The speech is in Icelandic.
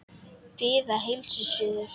Bið að heilsa suður.